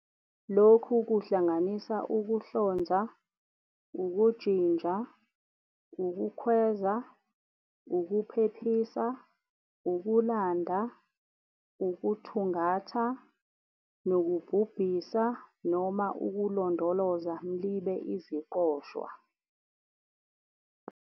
Lokhu kuhlanganisa ukuhlonza, ukujinja, ukukhweza, ukuphephisa, ukulanda, ukuthungatha, nokubhubhisa Noma ukulondoloza mlibe iziqoshwa.